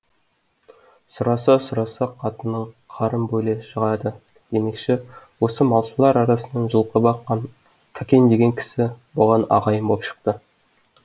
сұраса сұраса қатының қарын бөле шығады демекші осы малшылар арасынан жылқы баққан кәкен деген кісі бұған ағайын боп шықты